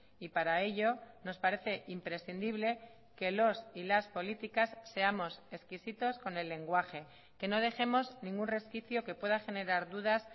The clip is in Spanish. y para ello nos parece imprescindible que los y las políticas seamos exquisitos con el lenguaje que no dejemos ningún resquicio que pueda generar dudas